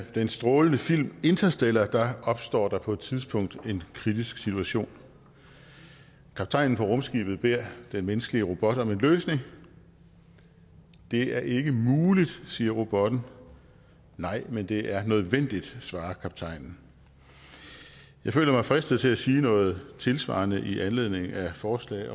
den strålende film interstellar opstår der på et tidspunkt en kritisk situation kaptajnen på rumskibet beder den menneskelige robot om en løsning det er ikke muligt siger robotten nej men det er nødvendigt svarer kaptajnen jeg føler mig fristet til at sige noget tilsvarende i anledning af forslag